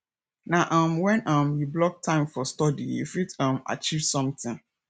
na um wen um you block time for study you fit um achieve sometin